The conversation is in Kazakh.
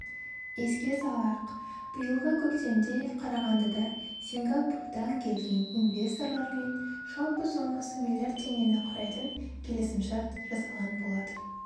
еске салайық биыл көктемде қарағандыда сингапурдан келген инвесторлармен жалпы сомасы миллиард теңгені құрайтын келісімшарт жасалған болатын